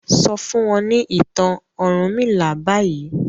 sọ fún wọn ni ìtàn ọrunmila bayii.